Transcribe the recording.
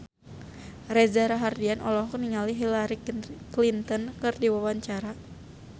Reza Rahardian olohok ningali Hillary Clinton keur diwawancara